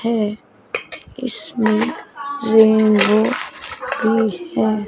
है इसमें रेनबो भी है।